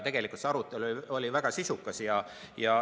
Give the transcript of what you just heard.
Tegelikult oli see arutelu väga sisukas.